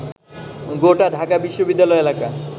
গোটা ঢাকা বিশ্ববিদ্যালয় এলাকা